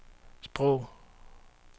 sprog